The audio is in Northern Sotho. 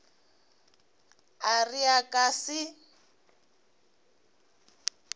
a re a ka se